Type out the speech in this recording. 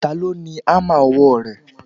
Ta ló ni hámà ọwọ́ rẹ?